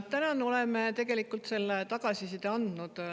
Tänan!